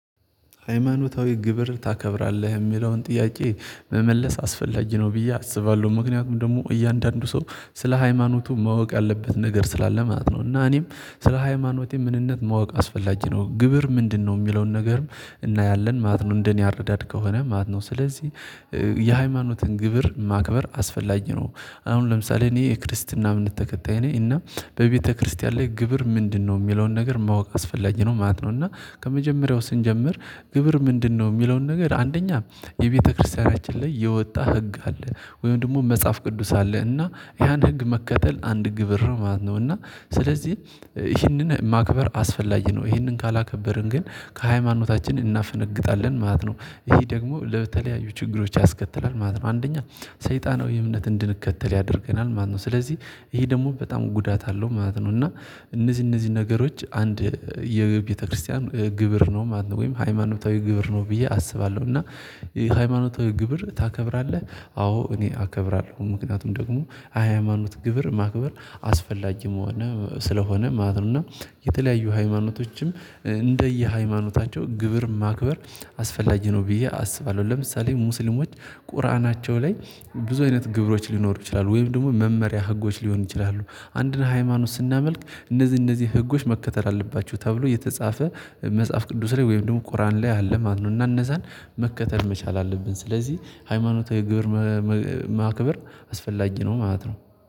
ሃይማኖታዊ ግብር ታከብራለህ የሚለውን ጥያቄ መመለስ አስፈላጊ ነው ብዬ አስባለሁ ምክንያቱም ደግሞ እያንዳንዱ ሰው ስለ ሃይማኖቱ ማወቅ ያለበት ነገር ስላለ ማለት ነው። እና እኔም ስለ ሃይማኖቴ ምንነት ማወቅ አስፈላጊ ነው። ግብር ምንድነው የሚለውን ነገርም እናያለን ማለት ነው። እንደኔ አረዳድ ከሆነ ማት ነው። ስለዚህ የሃይማኖትን ግብር ማክበር አስፈላጊ ነው። አሁን ለምሳሌ እኔ የክርስትና እምንት ተከታይ ነኝ እና በቤተክርስቲያን ላይ ግብር ምንድነው የሚለውን ነገር ማወቅ አስፈላጊ ነው ማለት ነው። እና ከመጀመሪያው ስንጀምር ግብር ምንድነው የሚለውን ነገር አንደኛ የቤተክርስቲያናችን ላይ የወጣ ህግ አለ ወይም ደግሞ መጽሐፍ ቅዱስ አለ እና ያን ህግ መከተል አንድ ግብር ማለት ነው። እና ስለዚህ ይህንን ማክበር አስፈላጊ ነው። ይህንን ካላከበርን ግን ከሃይማኖታችን እናፈነግጣለን ማለት ነው። ይሄ ደግሞ ለተለያዩ ችግሮች ያስከትላል ማለት ነው። አንደኛ ሰይጣናዊ እምነት እንድንከተል ያደርገናል ማለት ነው። ስለዚህ ይሄ ደግሞ በጣም ጉዳት አለው ማለት ነው። እና እነዚህ እነዚህ ነገሮች አንድ የቤተክርስቲያን ግብር ነው ማለት ነው ወይም ሃይማኖታዊ ግብር ነው ብዬ አስባለሁ። እና ሃይማኖታዊ ግብር ታከብራለህ? አዎ እኔ አከብራለሁ። ምክንያቱም ደግሞ ሃያማኖት ግብር ማክበር አስፈላጊ መሆን ስለሆነ ማለት ነው። እና የተለያዩ ሃይማኖቶችም እንደየሃይማኖታቸው ግብር ማክበር አስፈላጊ ነው ብዬ አስባለሁ። ለምሳሌ ሙስሊሞች ቁርአናቸው ላይ ብዙ አይነት ግብሮች ሊኖሩ ይችላሉ ወይም ደግሞ መመሪያ ህጎች ሊሆኑ ይችላሉ። አንድን ሃይማኖት ስናመልክ እነዚህ እነዚህ ህጎች መከተል አለባቸው ተብሎ የተጻፈ መጽሐፍ ቅዱስ ላይ ወይም ደግሞ ቁርአን ላይ ያለ ማነው እና እነዛን መከተል መቻል አለብን። ስለዚህ ሃይማኖታዊ ግብር ማክበር አስፈላጊ ነው ማለት ነው